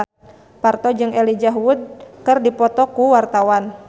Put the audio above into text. Parto jeung Elijah Wood keur dipoto ku wartawan